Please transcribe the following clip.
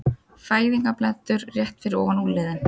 Fæðingarblettur rétt fyrir ofan úlnliðinn.